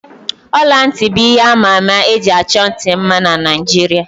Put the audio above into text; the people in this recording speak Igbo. Ọla ntị bụ ihe àmà ama eji achọ ntị mma na Naijiria